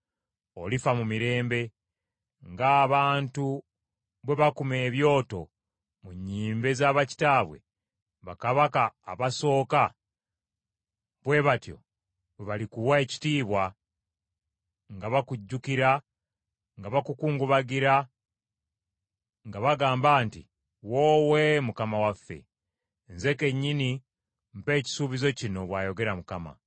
olifa mu mirembe. Ng’abantu bwe bakuma ebyoto mu nnyimbe za bakitaawo, bakabaka abasooka, bwe batyo bwe balikuwa ekitiibwa nga bakujjukira nga bakukungubagira nga bagamba nti, “Woowe mukama waffe!” Nze kennyini mpa ekisuubizo kino, bw’ayogera Mukama .’”